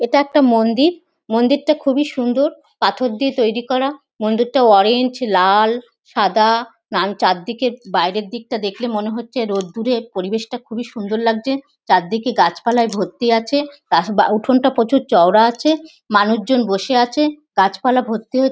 এটা একটা মন্দির। মন্দিরটা খুবই সুন্দর পাথর দিয়ে তৈরি করা। মন্দিরটা অরেঞ্জ লাল সাদা চারদিকে বাইরের দিকটা দেখলে মনে হচ্ছে রোদ্দুর এ পরিবেশটা খুব সুন্দর লাগছে। চারদিকে গাছপালায় ভর্তি আছে। তা উঠোনটা প্রচুর চওড়া আছে মানুষজন বসে আছে গাছপালা ভর্তি হয়ে--